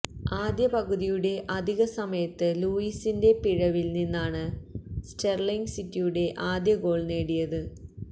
ആദ്യ പകുതിയുടെ അധിക സമയത്ത് ലൂയിസിന്റെ പിഴവില് നിന്നാണ് സ്റ്റെര്ലിങ് സിറ്റിയുടെ ആദ്യ ഗോള് നേടിയത്